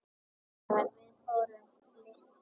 Þegar við vorum litlar.